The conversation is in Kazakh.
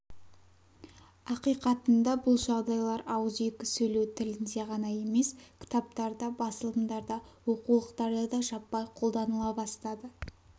ақиқатында бұл жағдайлар ауыз екі сөйлеу тілінде ғана емес кітаптарда басылымдарда оқулықтарда да жаппай қолданыла бастады